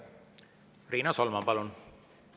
Riina Solman, palun!